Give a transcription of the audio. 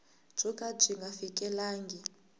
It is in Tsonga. byo ka byi nga fikelelangi